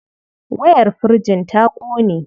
Wayar firjin ta ƙone.